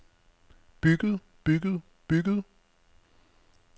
bygget bygget bygget